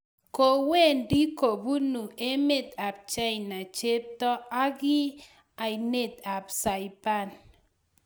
Kowendi kupone emet AP china cheptoo aki ainet AP saipan